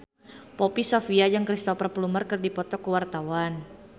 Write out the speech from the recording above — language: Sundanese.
Poppy Sovia jeung Cristhoper Plumer keur dipoto ku wartawan